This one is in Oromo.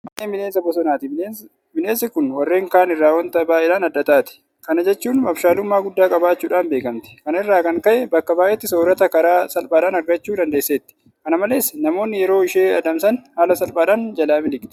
Qamaleen bineensa bosonaati. Bineensi kun warreen kaan irraa waanta baay'eedhaan adda taati. Kana jechuun abshaalummaa guddaa qabaachuudhaan beekamti. Kana irraa kan ka'e bakka baay'eetti soorrata karaa salphaadhaan argachuu dandeesseetti. Kana malees namoonni yeroo ishee adamsan haala salphaadhaan jalaa miliqxi.